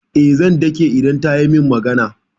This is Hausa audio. Eh, zan dake idan ta yi min magana.